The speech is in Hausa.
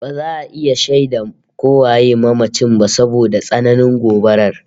Ba za a iya shaida ko waye mamacin ba saboda tsananin gobabar